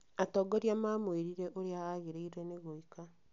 Atongoria mamwĩrire ũrĩa agĩrĩirwo nĩ gwĩka